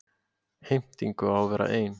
Heimtingu á að vera ein.